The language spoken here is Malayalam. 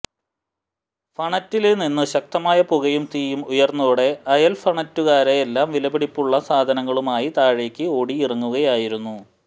ഫഌറ്റില് നിന്നും ശക്തമായ പുകയും തീയും ഉയര്ന്നതോടെ അയല്ഫഌറ്റുകാരെല്ലാം വിലപിടിപ്പുള്ള സാധനങ്ങളുമായി താഴേക്ക് ഓടിയിറങ്ങുകയായിരുന്നു